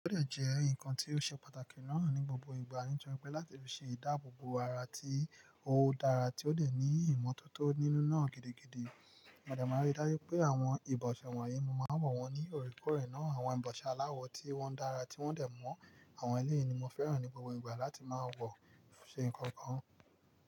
Ó lè jẹ́ ǹkan tó ṣe pàtàkì náà ní gbogbo ìgbà, nítorí pé láti lè ṣe ìdáàbò bo ara tí ó dára, tí ó lè ní ìmọ́tótó nínú náà gidi, òdà máa rí dájú pé àwọn ìbọ̀ṣẹ̀ wọ̀nyí, mo máa wọ̀ wọ́n ní òríkọ̀rè náà. Àwọn ìbọ̀ṣẹ̀ aláwọ̀ tí wọ́n dára tí wọ́n dẹ̀ mọ́ àwọn ẹlẹ́yin ni mo fẹ́ràn ní gbogbo ìgbà láti máa wọ̀ ṣe nǹkan kan.